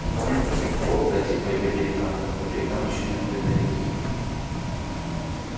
никому не пришло в голову пройти по её берегам как по берегам ещё не открытой реки